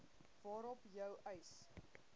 waarop jou eis